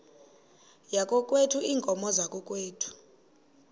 yakokwethu iinkomo zakokwethu